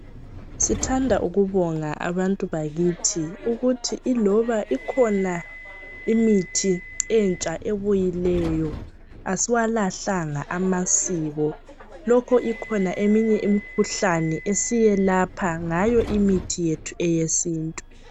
Sithanda ukubonga abantu bakithi ukuthi iloba ikhona imithi entsha ebuyileyo asiwalahlanga amasiko .Lokho ikhona eminye imikhuhlane esiyelapha ngayo imithi yethu eyesintu.